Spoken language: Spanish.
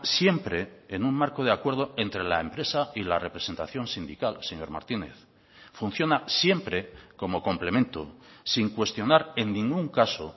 siempre en un marco de acuerdo entre la empresa y la representación sindical señor martínez funciona siempre como complemento sin cuestionar en ningún caso